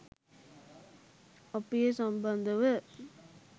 අපි ඒ සම්බන්ධව